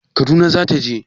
Kaduna za ta je